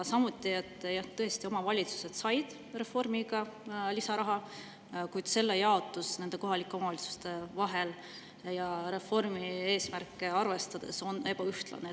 Samuti seda, et tõesti, omavalitsused said reformiga lisaraha, kuid selle jaotus kohalike omavalitsuste vahel ja reformi eesmärke arvestades on ebaühtlane.